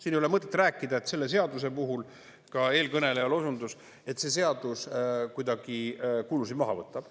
Siin ei ole mõtet rääkida, et selle seaduse puhul ka eelkõnelejal osundus, et see seadus kuidagi kulusid maha võtab.